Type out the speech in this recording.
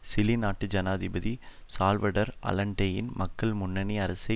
Chile நாட்டு ஜனாதிபதி Salvador அலன்டேயின் மக்கள் முன்னணி அரசை